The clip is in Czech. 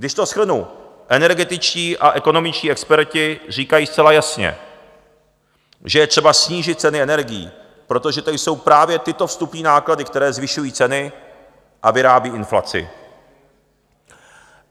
Když to shrnu, energetičtí a ekonomičtí experti říkají zcela jasně, že je třeba snížit ceny energií, protože to jsou právě tyto vstupní náklady, které zvyšují ceny a vyrábí inflaci.